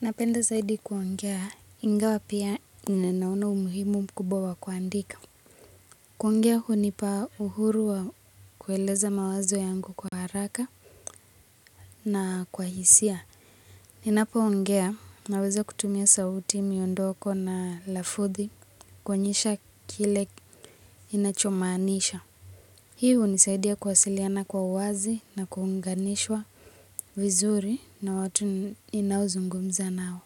Napenda zaidi kuongea ingawa pia ninaona umuhimu mkubwa wa kuandika. Kuongea hunipa uhuru wa kueleza mawazo yangu kwa haraka na kwa hisia. Ninapoongea naweza kutumia sauti miondoko na lafuthi kuonyesha kile inachomaanisha. Hii hunisaidia kuwasiliana kwa uwazi na kuunganishwa vizuri na watu ninaozungumza nao.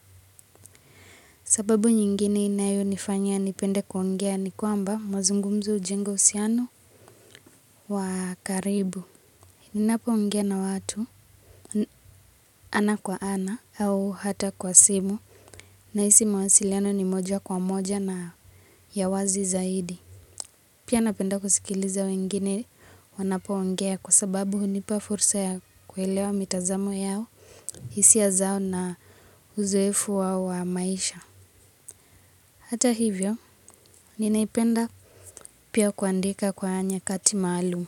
Sababu nyingine inayonifanya nipende kuongea ni kwamba mazungumzo hujenga uhusiano wa karibu. Ninapoongea na watu ana kwa ana au hata kwa simu nahisi mawasiliano ni moja kwa moja na ya wazi zaidi. Pia napenda kusikiliza wengine wanapoongea kwa sababu hunipa fursa ya kuelewa mitazamo yao hisia zao na uzoefu wao wa maisha. Hata hivyo, ninaipenda pia kuandika kwa nyakati maalumu.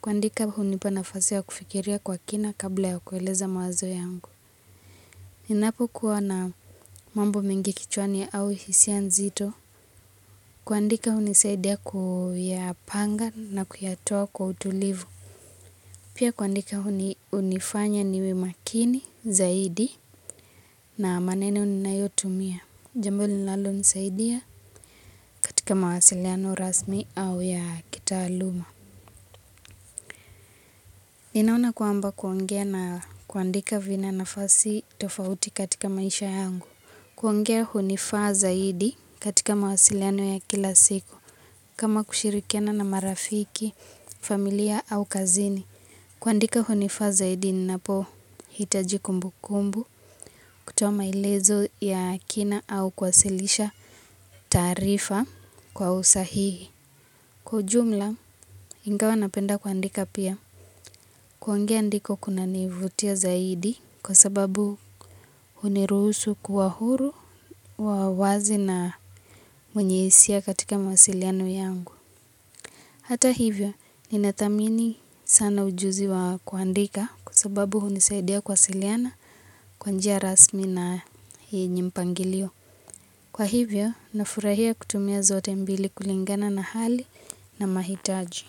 Kuandika hunipa nafasi ya kufikiria kwa kina kabla ya kueleza mawazo yangu. Ninapokuwa na mambo mingi kichwani ya au hisia nzito. Kuandika hunisaidia kuyapanga na kuyatoa kwa utulivu. Pia kuandika hunifanya niwe makini zaidi na maneno ninayotumia. Jambo linilalonisaidia katika mawasiliano rasmi au ya kitaaluma. Ninaona kwamba kuongea na kuandika vina nafasi tofauti katika maisha yangu. Kuongea hunifaa zaidi katika mawasiliano ya kila siku. Kama kushirikiana na marafiki, familia au kazini. Kuandika hunifaa zaidi ninapohitaji kumbukumbu kutoa maelezo ya kina au kuwasilisha taarifa kwa usahihi. Kwa jumla, ingawa napenda kuandika pia. Kuongea ndiko kunanivutia zaidi kwa sababu huniruhusu kuwa huru wa wazi na mwenye hisia katika mawasiliano yangu. Hata hivyo, ninathamini sana ujuzi wa kuandika kwa sababu hunisaidia kuwasiliana kwa njia rasmi na yenye mpangilio. Kwa hivyo, nafurahia kutumia zote mbili kulingana na hali na mahitaji.